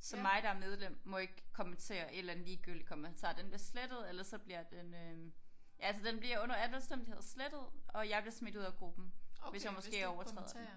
så mig der er medlem må ikke kommentere en eller anden ligegyldig kommentar den bliver slettet ellers så bliver den øh ja altså den bliver under alle omstændigheder slettet og jeg bliver smidt ud af gruppen hvis jeg måske overtræder den